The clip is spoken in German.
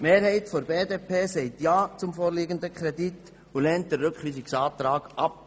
Die Mehrheit der BDP sagt ja zum vorliegenden Kredit und lehnt den Rückweisungsantrag ab.